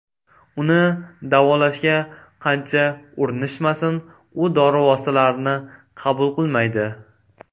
Uni davolashga qancha urinishmasin, u dori vositalarini qabul qilmaydi.